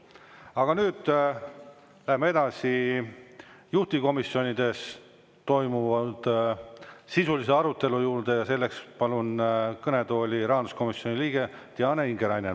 Aga nüüd läheme edasi juhtivkomisjonides toimunud sisulise arutelu juurde ja selleks palun kõnetooli rahanduskomisjoni liikme Diana Ingeraineni.